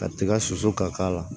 Ka tiga susu ka k'a la